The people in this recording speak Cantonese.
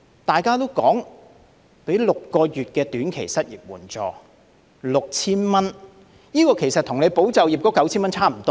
大家說的就是提供6個月短期失業援助，每月 6,000 元，這與"保就業"的 9,000 元差不多。